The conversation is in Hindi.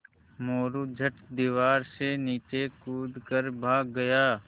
मोरू झट दीवार से नीचे कूद कर भाग गया